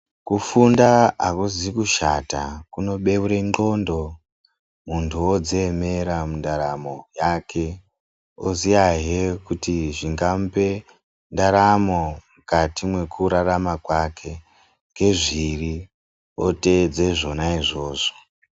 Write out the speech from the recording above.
Kufunda hakuzi kushata kunobeure ndxondo muntu vodziemera mundaramo yake, oziyahe kuti zvingamupe ndaramo mukati mwekurarama kwake ngezviri otedze zvona izvozvo.